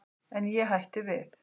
En ég hætti við.